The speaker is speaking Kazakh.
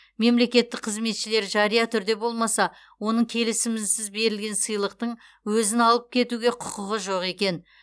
мемлекеттік қызметшілер жария түрде болмаса оның келісімінсіз берілген сыйлықтың өзін алып кетуге құқығы жоқ екен